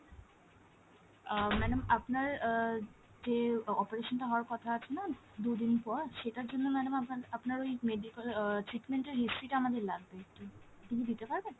আহ madam আপনার আহ যে operation টা হওয়ার কথা আছে না দু'দিন পর সেটার জন্য madam আপনার, আপনার ওই medical আহ treatment এর history টা আমাদের লাগবে একটু। আপনি কি দিতে পারবেন?